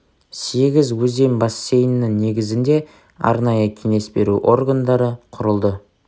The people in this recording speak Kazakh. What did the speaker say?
сегіз өзен бассейннің негізінде арнайы кеңес беру органдары құрылды